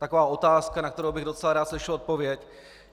Taková otázka, na kterou bych docela rád slyšel odpověď.